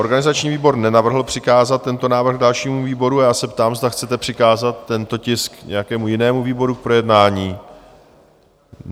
Organizační výbor nenavrhl přikázat tento návrh dalšímu výboru a já se ptám, zda chcete přikázat tento tisk nějakému jinému výboru k projednání?